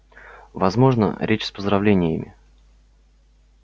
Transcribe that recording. возможно речь с поздравлениями